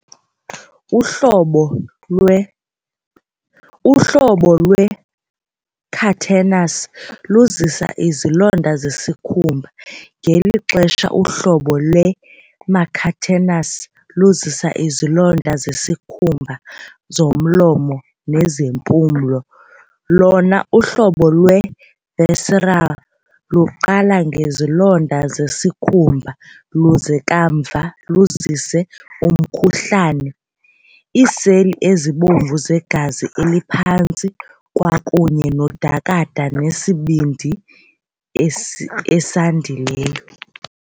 Uhlobo lwe uhlobo lwe-cutaneous luzisa izilonda zesikhumba, ngelixa uhlobo lwe-mucocutaneous luzisa izilonda zesikhumba, zomlomo, nezempumlo, lona uhlobo lwe-visceral luqala ngezilonda zezikhumba luze kamva luzise umkhuhlane, iiseli ezibomvu zegazi eliphantsi, kwakunye nodakada nesibindi esandileyo.